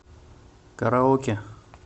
караоке